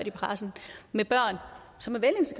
i pressen med børn som